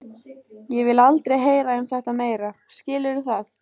Ég vil aldrei heyra um þetta meira, skilurðu það?